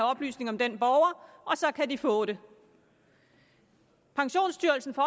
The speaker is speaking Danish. oplysninger om den borger og så kan de få dem pensionsstyrelsen får